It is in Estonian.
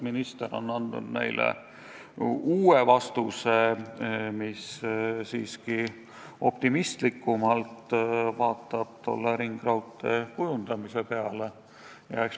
Minister on andnud neile uue vastuse, mis vaatab tolle ringraudtee plaanidele optimistlikumalt.